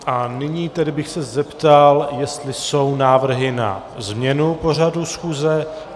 A nyní tedy bych se zeptal, jestli jsou návrhy na změnu pořadu schůze.